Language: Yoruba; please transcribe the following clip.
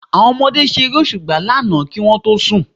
Àwọn ọmọdé ṣe Eré òṣùpá lánàá kí wọ́n tó sùn